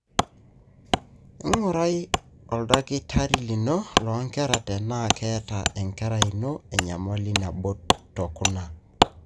ingurai oldakitari lino lonkera tenaa keeta enkerai ino enyamali naboo tokuna.